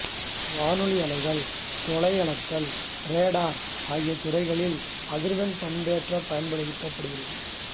வானொலி அலைகள் தொலை அளத்தல் ராடார் ஆகிய துறைகளில் அதிர்வெண் பண்பேற்றம் பயன்படுகிறது